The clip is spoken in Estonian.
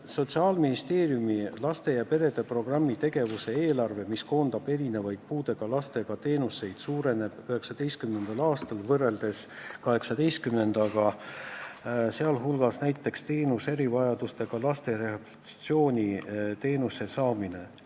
Sotsiaalministeeriumi laste ja perede programmi tegevuse eelarve, mis hõlmab erinevaid puudega lastele osutatavaid teenuseid, on 2019. aastal suurem kui tänavu, sh paraneb näiteks erivajadustega laste rehabilitatsiooniteenuse osutamine.